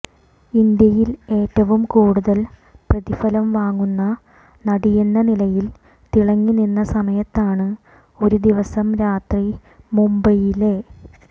ഇന്ത്യയിൽ ഏറ്റവും കൂടുതൽ പ്രതിഫലം വാങ്ങുന്ന നടിയെന്ന നിലയിൽ തിളങ്ങി നിന്ന സമയത്താണ് ഒരു ദിവസം രാത്രി മുബൈയിലെ